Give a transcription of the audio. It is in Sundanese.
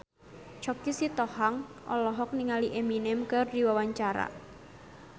Choky Sitohang olohok ningali Eminem keur diwawancara